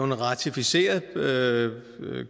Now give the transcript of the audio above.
vi ratificerede